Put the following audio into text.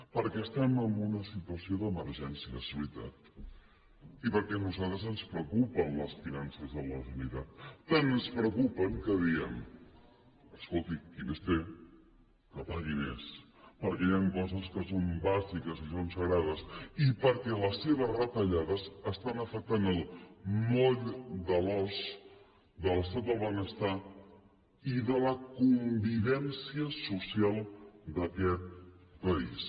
perquè estem en una situació d’emergència és veritat i perquè a nosaltres ens preocupen les finances de la generalitat tant ens preocupen que diem escolti qui més té que pagui més perquè hi ha coses que són bàsiques i són sagrades i perquè les seves retallades estan afectant el moll de l’os de l’estat del benestar i de la convivència social d’aquest país